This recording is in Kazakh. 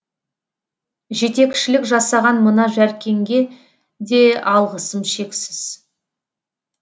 жетекшілік жасаған мына жәркенге де алғысым шексіз